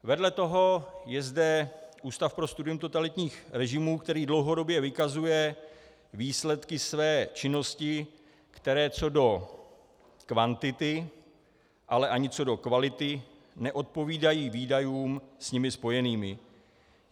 Vedle toho je zde Ústav pro studium totalitních režimů, který dlouhodobě vykazuje výsledky své činnosti, které co do kvantity, ale ani co do kvality neodpovídají výdajům s nimi spojeným.